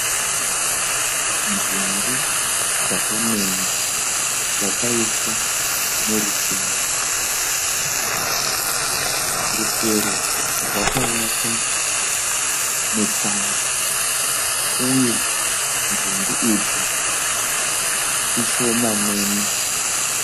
Nzungu dzaka menywa dzakaiswa murusero. Rusero rwakavakwa netsanga uye nzungu idzi ishomanene.